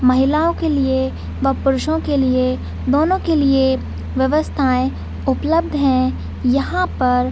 महिलाओं के लिए व पुरुषों के लिए दोनों के लिए व्यवस्थाए उपलब्ध है यहाँ पर--